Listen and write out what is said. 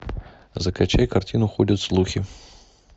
закачай картину ходят слухи